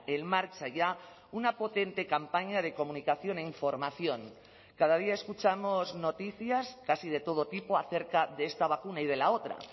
en marcha ya una potente campaña de comunicación e información cada día escuchamos noticias casi de todo tipo acerca de esta vacuna y de la otra